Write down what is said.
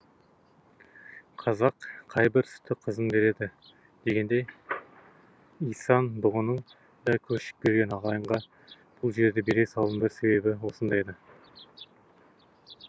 қазақ қай бір сүтті қызын береді дегендей исан бұғының да көшіп келген ағайынға бұл жерді бере салуының бір себебі осында еді